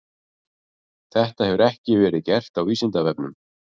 Þetta hefur ekki verið gert á Vísindavefnum.